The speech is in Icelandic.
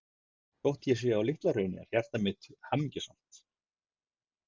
Þótt ég sé á Litla-Hrauni er hjarta mitt hamingjusamt.